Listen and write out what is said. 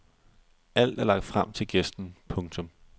Alt er lagt frem til gæsten. punktum